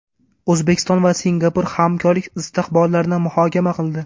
O‘zbekiston va Singapur hamkorlik istiqbollarini muhokama qildi.